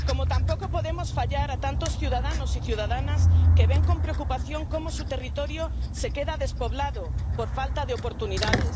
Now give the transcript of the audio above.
Tampoco podemos fallar a tantos ciudadanos y ciudadanas que ven con preocupación cómo su territorio se queda despoblado por falta de oportunidades.